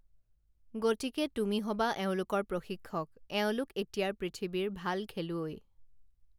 গতিকে তুমি হবা এওঁলোকৰ প্ৰশিক্ষক এওঁলোক এতিয়াৰ পৃথিৱীৰ ভাল খেলুৱৈ